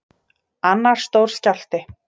Annar stór skjálfti